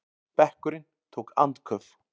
Bekkurinn tók andköf.